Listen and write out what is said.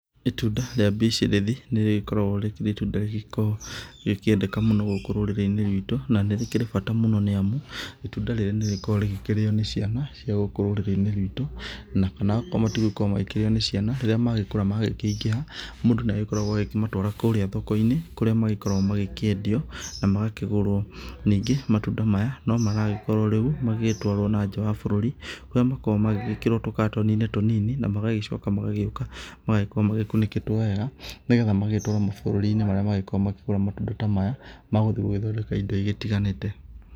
Itunda rĩa mbicirĩthi nĩ rĩkoragwo rĩkĩrĩ itunda rĩgĩkoragwo rĩgĩkĩendeka mũno gũkũ rũrĩrĩ-inĩ rwitũ, na nĩrĩkĩrĩ bata mũno, nĩ amu itunda rĩrĩ nĩrĩkoragwo rĩkĩrĩo nĩ ciana cai gũkũ rũrĩrĩ-inĩ rwitũ. Na kana akorwo matigũkorwo makĩrĩo nĩ ciana rĩrĩa magĩkũra magĩkĩingĩha, mũndũ nĩagĩkoragwo agĩkĩmatwara kũrĩa thoko-inĩ kũrĩa magĩkoragwo magĩkĩendio na magakĩgũrwo. Ningĩ matunda maya no maragĩkorwo magĩtwarwo nanja wa bũrũri, kũrĩa makoragwo magĩgĩkĩrwo tũkatoni-inĩ tũnini na magagĩcoka magagĩũka magagĩkorwo magĩkunĩkĩtwo wega, nĩgetha magagĩtwarwo mabũrũri-inĩ marĩa magĩkoragwo makĩgũra matunda ta maya magũthiĩ gũgĩthondeka indo igĩtiganĩte.